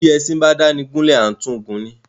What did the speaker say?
Bi ẹṣin ba dáni gúlè à tun gun ni.